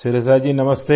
शिरिषा जी नमस्ते